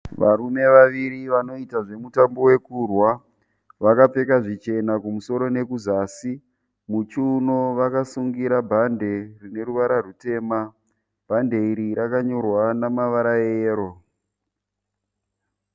Varume vaviri vanoita zvemutambo wekurwa, vakapfeka zvichena kumusoro nekuzasi, muchiunoma vakasungira bhandi rineruvara rwutema, bhandi iri rakanyorwa neruvara rweyero.